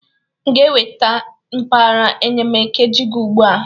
M ga-eweta mkpara enyemakiije gi ugbu a?